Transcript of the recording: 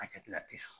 A jati la ti sɔn